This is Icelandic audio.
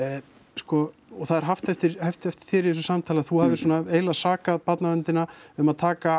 sko og það er haft eftir haft eftir þér í þessu samtali að þú hafir svona eiginlega sakað barnaverndina um að taka